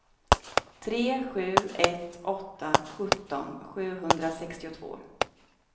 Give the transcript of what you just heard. tre sju ett åtta sjutton sjuhundrasextiotvå